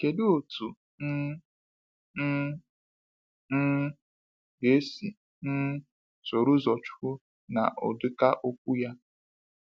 Kedụ otu um m um ga esi um soro ụzọ Nwachukwu na ụdịka okwu a?